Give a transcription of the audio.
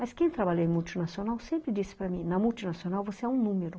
Mas quem trabalha em multinacional sempre disse para mim, ''na multinacional você é um número.''